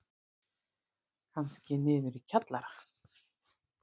Kannski niður í kjallara.